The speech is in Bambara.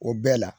O bɛɛ la